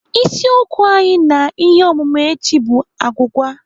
Isiokwu anyị na ihe ọmụmụ echi bụ agwụgwa.